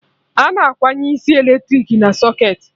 Ana akwụnye isi eletrik na socketị